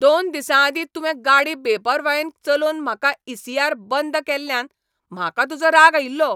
दोन दिसांआदीं तुवें गाडी बेपरवायेन चलोवन म्हाका इ. सी. आर. बंद केल्ल्यान म्हाका तुजो राग आयिल्लो?